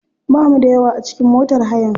Bamu da yawa a cikin motar hayan.